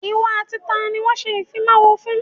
Ìwọ àti taàní wọn ṣe ìfimawo fún?